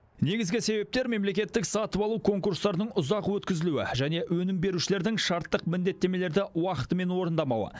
негізгі себептер мемлекеттік сатып алу конкурстарының ұзақ өткізілуі және өнім берушілердің шарттық міндеттемелерді уақытымен орындамауы